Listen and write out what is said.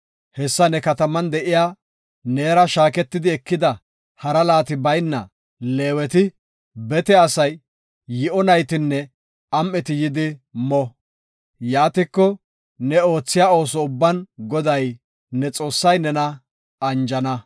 Hessa ne kataman de7iya, neera shaakitidi ekida hara laati bayna Leeweti, bete asay, yi7o naytinne am7eti yidi mo. Yaatiko, ne oothiya ooso ubban Goday, ne Xoossay nena anjana.